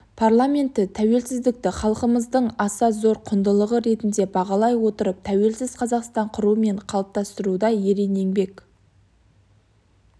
парламенті тәуелсіздікті халқымыздың аса зор құндылығы ретінде бағалай отырып тәуелсіз қазақстан құру және қалыптастыруда ерен еңбек